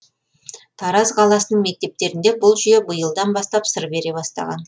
тараз қаласының мектептерінде бұл жүйе биылдан бастап сыр бере бастаған